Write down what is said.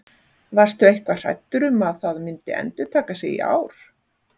Varstu eitthvað hræddur um að það myndi endurtaka sig í ár?